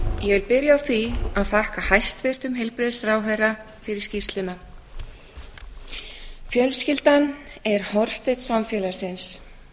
ég vil byrja á því að þakka hæstvirtum heilbrigðisráðherra fyrir skýrsluna fjölskyldan er hornsteinn samfélagsins